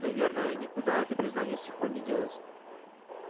наверное никуда это признание с тех пор не делось